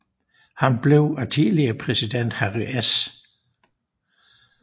Han blev af tidligere præsident Harry S